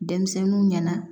Denmisɛnninw ɲɛna